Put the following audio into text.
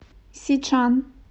сичан